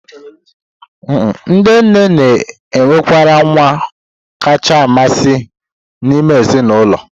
Ndị nne na-enwekarị nwa kacha amasị n'ime ezinụlọ.